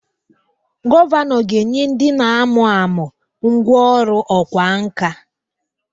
Gọvanọ ga-enye ndị na-amụ amụ ngwá ọrụ ọkwá nkà